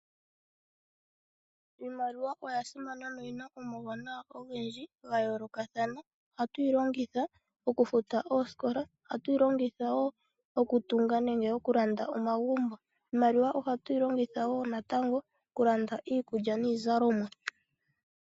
Iimaliwa oya simana noyina omauwanawa ogendji gayoolokathana. Ohatuyi longitha okufuta oosikola, okutunga nenge okulanda omagumbo. Ohatuyi longitha wo natango okulanda iikulya niizalomwa.